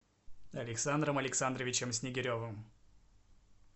александром александровичем снегиревым